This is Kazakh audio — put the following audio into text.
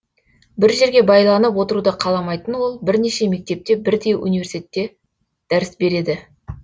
бір жерге байланып отыруды қаламайтын ол бірнеше мектепте бірдей университетте дәріс береді